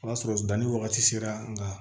O y'a sɔrɔ danni wagati sera nka